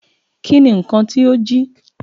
Ki ni nkan ti o jí?